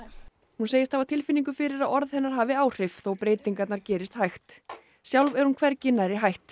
hún segist hafa tilfinningu fyrir að orð hennar hafi áhrif þó að breytingar gerist hægt sjálf er hún hvergi nærri hætt